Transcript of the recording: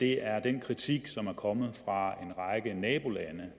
her er den kritik som er kommet fra en række nabolande